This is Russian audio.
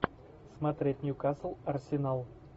смотреть ньюкасл арсенал